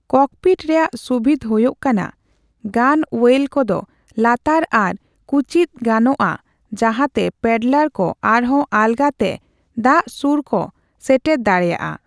Cockpit ᱨᱮᱭᱟᱜ ᱥᱩᱵᱤᱫᱷ ᱦᱩᱭᱩᱜ ᱠᱟᱱᱟ ᱜᱟᱱᱼᱳᱭᱮᱞ ᱠᱚᱫᱚ ᱞᱟᱛᱟᱨ ᱟᱨ ᱠᱩᱪᱤᱫ ᱜᱟᱱᱚᱜᱼᱟ ᱡᱟᱦᱟᱸᱛᱮ ᱯᱮᱰᱞᱟᱨ ᱠᱚ ᱟᱨᱦᱚᱸ ᱟᱞᱜᱟᱛᱮ ᱫᱟᱜ ᱥᱩᱨ ᱠᱚ ᱥᱮᱴᱮᱨ ᱫᱟᱲᱮᱭᱟᱜᱼᱟ ᱾